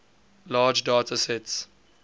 large data sets